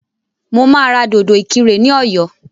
Mo máa ra dòdò ìkirè ní ọ̀yọ́